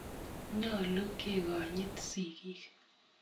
Nyalu kekonyit sikik